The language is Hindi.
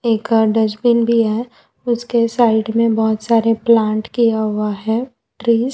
एक और डस्टबिन भी है उसके साइड में बहुत सारे प्लांट किया हुआ है ट्रीज ।